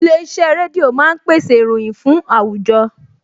Ilé-iṣẹ́ rédíò máa ń pèsè ìròyìn fún àwùjọ